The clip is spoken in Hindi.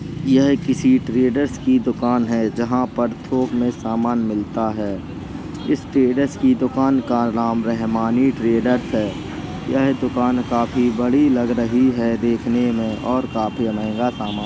यह किसी ट्रेडर्स की दुकान है। जहाँ पर थोक में सामान मिलता है। इस ट्रेडर्स की दुकान का राम रहमानी ट्रेडर्स है। यह दुकान काफी बड़ी लग रही है। देखने में और काफी महंगा सामान --